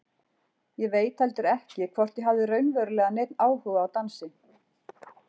Ég veit heldur ekki hvort ég hafði raunverulega neinn áhuga á dansi.